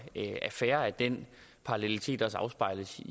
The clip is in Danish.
er fair at den parallelitet også afspejler sig